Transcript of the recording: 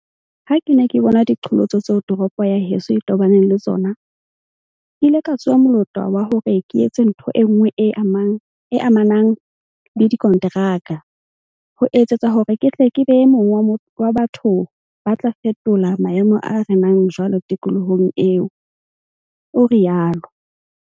"Ha ke ne ke bona diqholotso tseo toropo ya heso e tobaneng le tsona, ke ile ka tsoha molota wa hore ke etse ntho enngwe e amanang le dikonteraka, ho etsetsa hore ke tle ke be e mong wa batho ba tla fetola maemo a renang jwale tikolohong eo," o rialo.